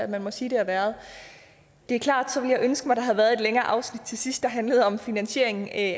man må sige det har været det er klart så ville ønske at der havde været et længere afsnit til sidst der handlede om finansiering af